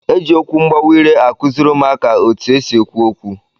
E ji okwu mgbawa ire akụzịrị ụmụaka etu e si ekwu okwu